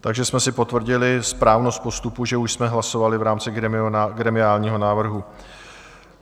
Takže jsme si potvrdili správnost postupu, že už jsme hlasovali v rámci gremiálního návrhu.